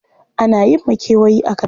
Ana yin makewayi a karkara?